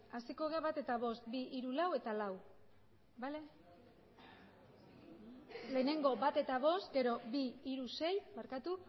hasiko gara bat eta bost bi hiru lau eta lau lehenengo bat eta bost gero bi hiru sei barkatu